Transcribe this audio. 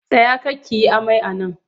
Tsaya kar ki yi amai a nan!